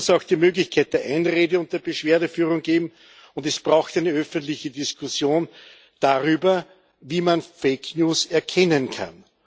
Es muss auch die Möglichkeit der Einrede und der Beschwerdeführung geben, und es braucht eine öffentliche Diskussion darüber, wie man fake news erkennen kann.